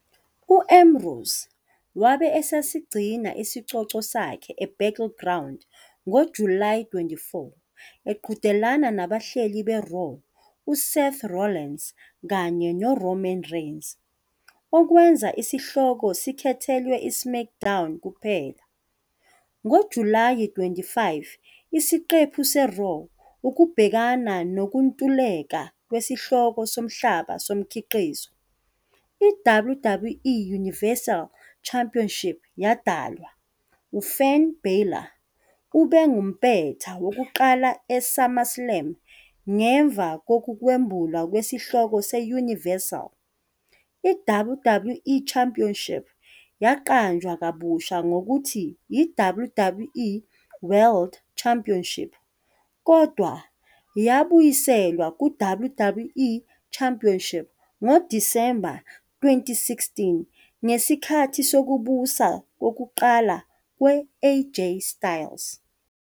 U-Ambrose wabe esesigcina isicoco sakhe e-Battleground ngoJulayi 24 eqhudelana nabahleli be-Raw u-Seth Rollins kanye ne-Roman Reigns, okwenza isihloko sikhethelwe i-SmackDown kuphela. NgoJulayi 25 isiqephu se- "Raw", ukubhekana nokuntuleka kwesihloko somhlaba somkhiqizo, i-WWE Universal Championship yadalwa, U-Finn Bálor ube ngumpetha wokuqala e-SummerSlam. Ngemva kokwembulwa kwesihloko se-Universal, i-WWE Championship yaqanjwa kabusha ngokuthi i-WWE World Championship, kodwa yabuyiselwa ku-WWE Championship ngo-December 2016 ngesikhathi sokubusa kokuqala kwe-AJ Styles.